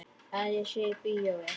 Að ég sé í bíói.